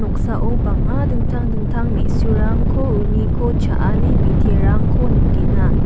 noksao bang·a dingtang dingtang me·surangko uniko cha·ani biterangko nikenga.